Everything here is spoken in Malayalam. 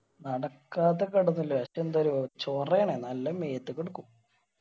നടക്കാത്ത ചോറയാണ് നല്ല മേത്തുക്ക് എടുക്കും.